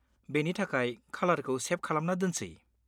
बेनि थाखाय खालारखौ सेभ खालामना दोनसै।